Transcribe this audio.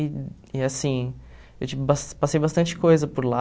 E e, assim, eu tive bas eu passei bastante coisa por lá.